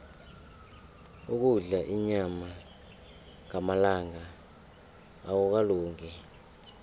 ukudla inyama ngamalanga akukalungi